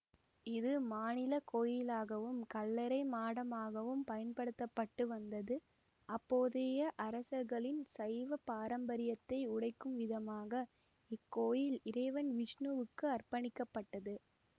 இது மாநில கோயிலாகவும் கல்லறை மாடமாகவும் பயன்படுத்த பட்டு வந்தது அப்போதைய அரசர்களின் சைவ பாரம்பரியத்தை உடைக்கும் விதமாக இக்கோயில் இறைவன் விஷ்ணு வுக்கு அர்ப்பணிக்கபட்டது